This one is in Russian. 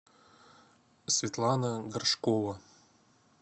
светлана горшкова